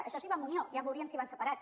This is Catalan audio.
això si va amb unió ja veuríem si van separats